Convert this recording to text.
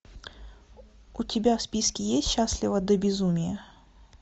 у тебя в списке есть счастлива до безумия